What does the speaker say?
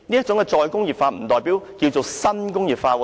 主席，"再工業化"不等於新工業化。